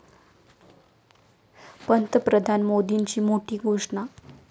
पंतप्रधान मोदींची मोठी घोषणा